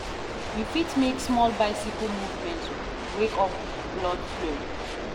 You fit make small bicycle movement, wake up blood flow.